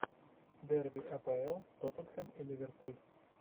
дерби апл тоттенхэм и ливерпуль